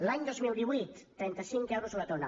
l’any dos mil divuit trenta cinc euros la tona